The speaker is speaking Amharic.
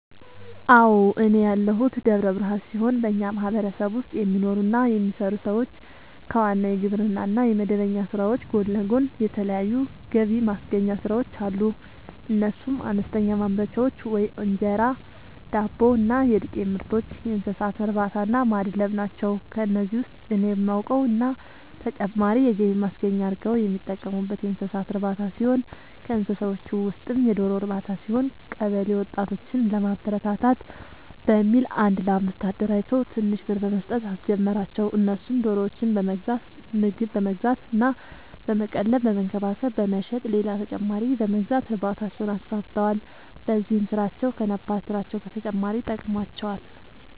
አዎ፤ እኔ ያለሁት ደብረ ብርሃን ሲሆን በኛ ማህበረሰብ ውስጥ የሚኖሩ እና የሚሰሩ ሰዎች ከዋናው የግብርና እና የመደበኛ ስራዎች ጎን ለጎን የተለያዩ ገብማስገኛ ስራዎች አሉ፤ እነሱም፦ አነስተኛ ማምረቻዎች(እንጀራ፣ ዳቦ እና የዱቄትምርቶች)፣የእንሰሳትእርባታናማድለብ ናቸው። ከነዚህ ውስጥ እኔ የማውቀው እና ተጨማሪ የገቢ ማስገኛ አርገው የሚጠቀሙበት የእንሰሳት እርባታ ሲሆን ከእንስሳዎቹ ውስጥም የዶሮ ርባታ ሲሆን፤ ቀበለ ወጣቶችን ለማበረታታት በሚል አንድ ለአምስት አደራጅቶ ትንሽ ብር በመስጠት አስጀመራቸው እነሱም ዶሮዎችን በመግዛት ምግብ በመግዛት እና በመቀለብ በመንከባከብ በመሸጥ ሌላ ተጨማሪ በመግዛት እርባታቸውን አስፋፍተዋል። በዚህም ስራቸው ከነባር ስራቸው በተጨማሪ ጠቅሞዋቸዋል።